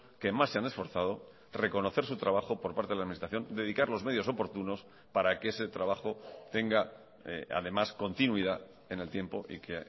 que más se han esforzado reconocer su trabajo por parte de la administración dedicar los medios oportunos para que ese trabajo tenga además continuidad en el tiempo y que